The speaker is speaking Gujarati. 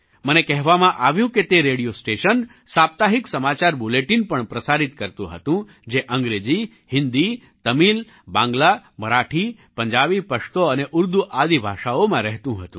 મને કહેવામાં આવ્યું કે તે રેડિયો સ્ટેશન સાપ્તાહિક સમાચાર બુલેટિન પણ પ્રસારિત કરતું હતું જે અંગ્રેજી હિન્દી તમિલ બાંગ્લા મરાઠી પંજાબી પશ્તો અને ઉર્દૂ આદિ ભાષાઓમાં રહેતું હતું